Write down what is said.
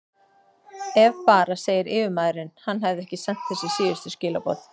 Ef bara segir yfirmaðurinn, hann hefði ekki sent þessi síðustu skilaboð.